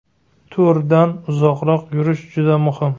To‘rdan uzoqroq yurishim juda muhim.